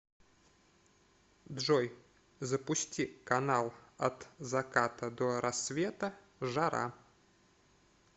джой запусти канал от заката до рассвета жара